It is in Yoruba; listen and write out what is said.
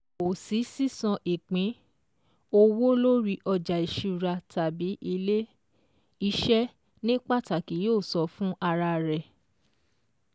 Kò sí sísan Ìpín-owó lórí ọjà ìṣúra tàbí Ilé-iṣẹ́ ní pàtàkì yóò san fún ara rẹ̀